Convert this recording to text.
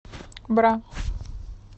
бра